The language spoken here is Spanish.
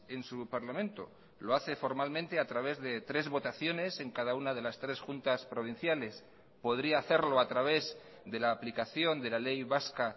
en su parlamento lo hace formalmente a través de tres votaciones en cada una de las tres juntas provinciales podría hacerlo a través de la aplicación de la ley vasca